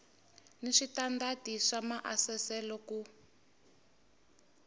ni switandati swa maasesele ku